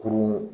Kurun